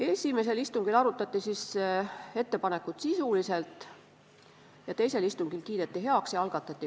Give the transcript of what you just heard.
Esimesel istungil arutati ettepanekut sisuliselt ja teisel istungil kiideti see heaks.